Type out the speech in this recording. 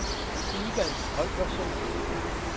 Ivan Holgersen